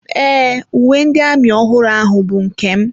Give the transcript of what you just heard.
Ee, uwe ndị amị ọhụrụ ahụ bụ nke m.